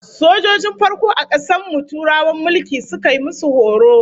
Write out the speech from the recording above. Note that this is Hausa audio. Sojojin farko a kasar mu Turawan mulki suka yi musu horo